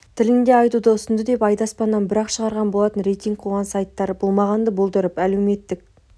тілінде айтуды ұсынды деп айды аспаннан бір-ақ шығарған болатын рейтинг қуған сайттар болмағанды болдырып әлеуметтік